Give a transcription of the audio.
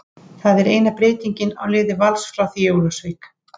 Það er eina breytingin á liði Vals frá því í Ólafsvík.